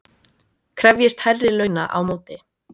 Krefjist hærri launa á móti